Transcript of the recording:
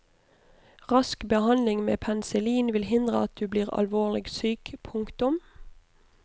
Rask behandling med penicillin vil hindre at du blir alvorlig syk. punktum